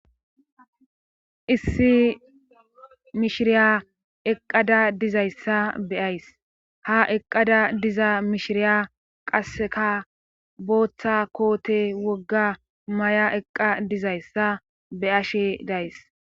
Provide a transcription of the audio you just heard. Issi mishiriya eqqada dizayssa be ays ha eqqada diza mishiriya qasseka booththa koote wogga may7a eqqa dizayssa be ashe days